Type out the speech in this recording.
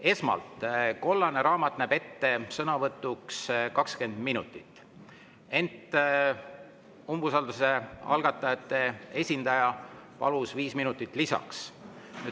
Esmalt, kollane raamat näeb sõnavõtuks ette 20 minutit, ent umbusalduse algatajate esindaja palus 5 minutit lisaks.